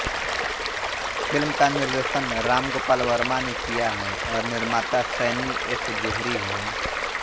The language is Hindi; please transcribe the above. फ़िल्म का निर्देशन राम गोपाल वर्मा ने किया है और निर्माता सैनी एस जोहरी हैं